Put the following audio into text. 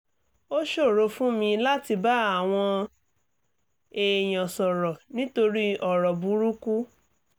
ó ṣòro fún mi láti bá àwọn èèyàn sọ̀rọ̀ nítorí ọ̀rọ̀ burúkú